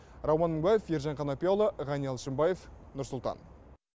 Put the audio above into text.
рауан мыңбаев ержан қанапияұлы ғани алшынбаев нұрсұлтан